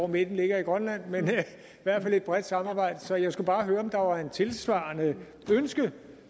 midten ligger i grønland men i hvert fald et bredt samarbejde så jeg skulle bare høre om der var et tilsvarende ønske